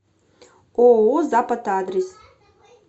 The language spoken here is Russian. ооо запад адрес